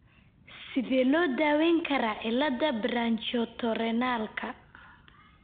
Sidee loo daweyn karaa cilada branchiootorenalka?